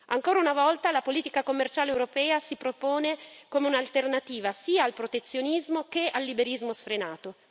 Ancora una volta la politica commerciale europea si propone come un'alternativa sia al protezionismo che al liberismo sfrenato.